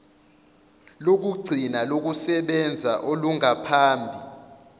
lokugcina lokusebenza olungaphambi